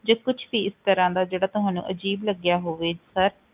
ਜਾਂ ਕੁਛ ਵੀ ਇਸ ਤਰ੍ਹਾਂ ਦਾ ਜਿਹੜਾ ਤੁਹਾਨੂੰ ਅਜ਼ੀਬ ਲੱਗਿਆ ਹੋਵੇ sir